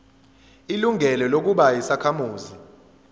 ilungelo lokuba yisakhamuzi